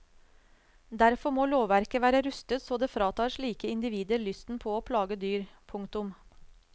Derfor må lovverket være rustet så det fratar slike individer lysten på å plage dyr. punktum